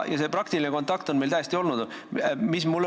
Meil on praktiline kontakt täiesti olemas olnud.